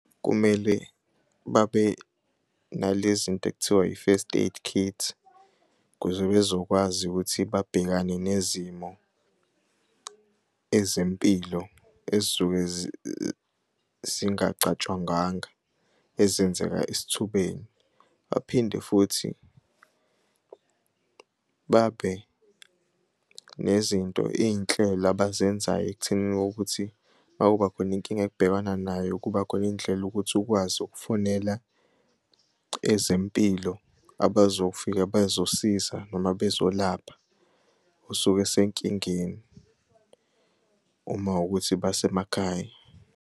Kumele babe nalezinto ekuthiwa i-first aid kit ukuze bezokwazi ukuthi babhekane nezimo ezempilo ezisuke zingacatshangangwa ezenzeka esithubeni. Baphinde futhi babe nezinto iy'nhlelo abazenzayo ekuthenini kokuthi makubakhona inkinga ebabhekana nayo kubakhona indlela ukuthi ukwazi ukufonela ezempilo abazofika bezosiza noma bezolapha osuke esenkingeni uma ukuthi basemakhaya.